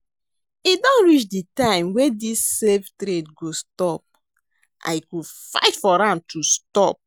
E don reach the time wey dis save trade go stop. I go fight for am to stop.